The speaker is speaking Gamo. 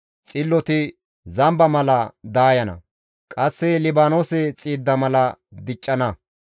Xilloti zamba mala daayana; qasse Libaanoose xiidda mala diccana.